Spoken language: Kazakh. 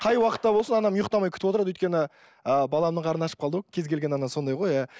қай уақытта болсын анам ұйқтамай күтіп отырады өйткені ыыы баламның қарны ашып қалды ау кез келген ана сондай ғой иә